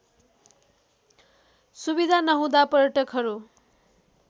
सुविधा नहुँदा पर्यटकहरू